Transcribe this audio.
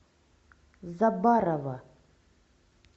заббарова